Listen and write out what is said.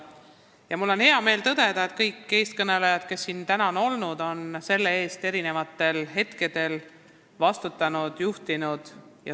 Ja mul on hea meel tõdeda, et kõik tänased eelkõnelejad on selle töö eest vastutanud ja seda juhtinud.